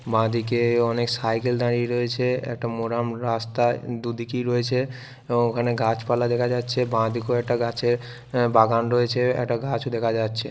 বাঁদিকে অনেক সাইকেল দাঁড়িয়ে রয়েছে | একটা মোরাম রাস্তায় দুদিকে রয়েছে | ওখানে গাছপালা দেখা যাচ্ছে বাঁদিকে একটা গাছের বাগান রয়েছে | একটা গাছ দেখা যাচ্ছে।